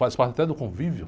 Faz parte até do convívio.